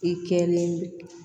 I kɛlen